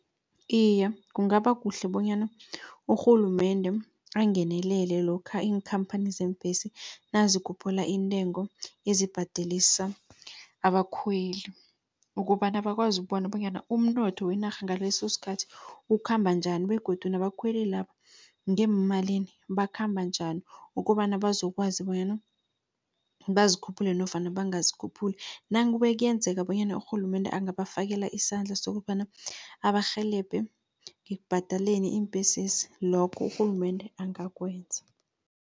Iye, kungaba kuhle bonyana urhulumende angenelele, lokha iinkhamphani zeembhesi nazikhuphula iintengo ezibhadelisa abakhweli. Ukobana bakwazi bona bonyana umnotho wenarha ngalesosikhathi, ukhamba njani begodu nabakhweli laba ngeemalini bakhamba njani. Kobana bazokwazi bonyana bazikhuphule nofana bangazikhuphuli. Nakube kuyenzeka bonyana urhulumende angabafakela isandla, sokobana abarhelebhe ngekubhadaleni iimbhesezi lokho urhulumende angakwenza.